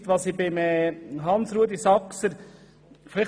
Beim Antrag von Hans-Rudolf Saxer verstehe ich etwas nicht ganz;